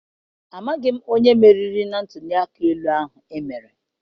Amaghị m onye meriri na ntụliaka ahụ emere.